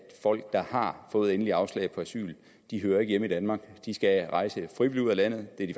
folk der har fået endeligt afslag på asyl hører ikke hjemme i danmark de skal rejse frivilligt ud af landet det er de